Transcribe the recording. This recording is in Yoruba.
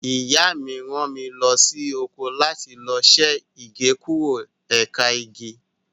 Ìyá mi rán mi lọ sóko láti lọ ṣe Igékúrò ẹ̀ka igi.